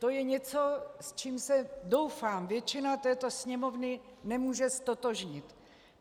To je něco, s čím se, doufám, většina této Sněmovny nemůže ztotožnit.